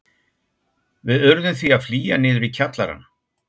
Við urðum því að flýja niður í kjallarann.